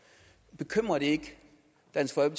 at tage